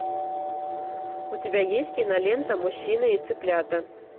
у тебя есть кинолента мужчина и цыплята